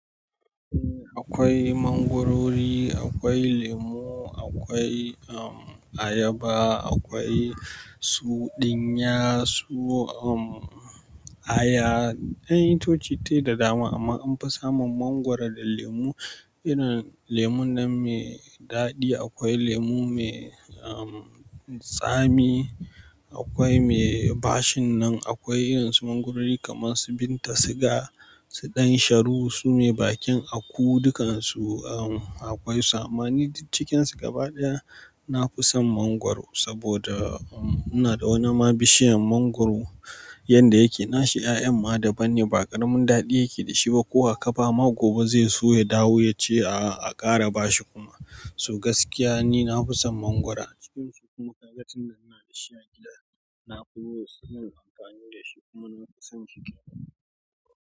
Akwai mangwarori, akwai lemu, akwai ayaba, akwai su dinya, su aya. Kayan itoci tai da dama amma anfi samun mangwaro da lemu. Irin lemun nan mai daɗi, akwai lemu mai tsami, akwai mai bashin nan, akwai irin su mangwarori kamar su Binta siga, su Ɗansharu su mai bakin aku, dukansu akwai su amma. Ni duk cikinsu gaba ɗaya na fi son mangwaro saboda ina da wani ma bishiyan mangwaro yanda yake nashi ƴaƴan ma daban ne ba ƙaramin daɗi yake da shi ba. Ko wa ka ba ma gobe zai so ya dawo ya ce a a ƙara bashi kuma. So gaskiya ni na fi son mangwura cikin su kuma ga tunda muna da shi a gida na fi so amfani da shi kuma na fi son shi duk.